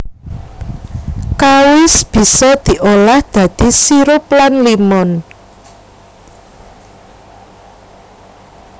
Kawis bisa diolah dadi sirup lan limun